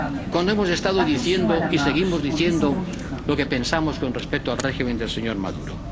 Cuando hemos estado diciendo y seguimos diciendo lo que pensamos con respecto al régimen del señor Maduro.